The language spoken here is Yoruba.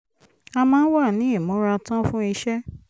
a máa ń wà ní ìmúratán fún iṣẹ́